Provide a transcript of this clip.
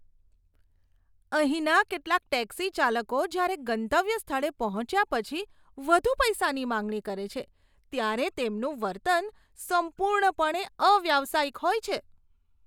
અહીંના કેટલાક ટેક્સી ચાલકો જ્યારે ગંતવ્ય સ્થળે પહોંચ્યા પછી વધુ પૈસાની માંગણી કરે છે, ત્યારે તેમનું વર્તન સંપૂર્ણપણે અવ્યાવસાયિક હોય છે.